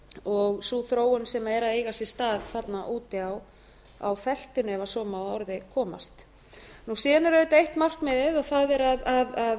og sú þróun sem er að eiga sér stað þarna úti á feltinu ef svo má að orði komast síðan er auðvitað eitt markmiðið það er að standa að